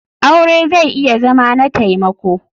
Aure zai iya Zama na taimako.